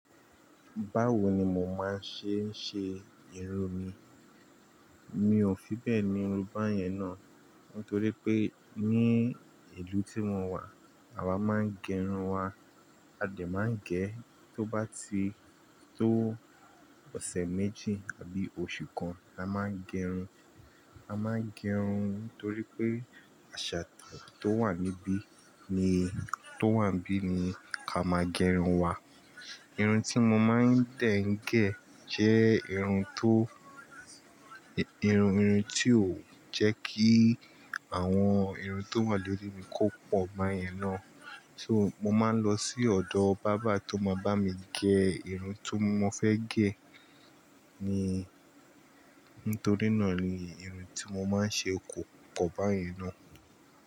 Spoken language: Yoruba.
Báwo ni mo máa n ṣe n ṣe irun mi. Mi ò fi bẹ́ẹ̀ ni irun bá yẹn náà. Nítorí pé ní ìlú tí mo wà, àwa máa ń gẹrun wa. A dẹ̀ máa ń gẹ̀, tó bá ti tó ọ̀sẹ̀ méjì àbí oṣù kan, a máa ń gẹrun. A máa ń gẹrun nítorí pé àṣà tó wà níbí ni, tó wà níbí ni ká máa gẹrun wa. Irun tí mo máa ń dẹ̀ ń gẹ̀ jẹ́ irun tó, irun, irun tí ó jẹ́ kí àwọn irun tó wà lórí mi kó pọ̀ báyẹn náà. So mo máa ń lọ sí ọ̀dọ̀ barber tó máa bá mi gẹ irun tó mo fẹ́ gẹ̀ ni. Nítorí náà ni irun tí mo máa ń ṣe kò pọ̀ báyẹn náà.